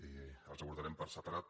i els aborda·rem per separat